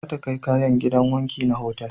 Za ta kai kayan gidan wanki na otal